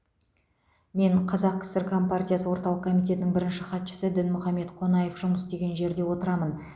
мен қазақ кср компартиясы орталық комитетінің бірінші хатшысы дінмұхаммед қонаев жұмыс істеген жерде отырамын